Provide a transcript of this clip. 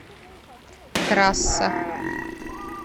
трасса